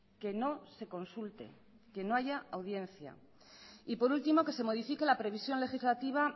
que no se consulte que no haya audiencia y por último que se modifique la previsión legislativa